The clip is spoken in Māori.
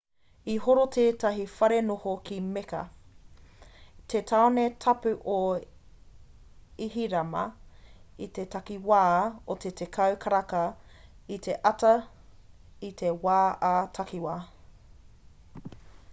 i horo tētahi wharenoho ki mecca te tāone tapu o ihirama i te takiwā o te 10 karaka i te ata i te wā ā-takiwa